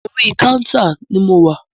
Orí kántà ni mo wà.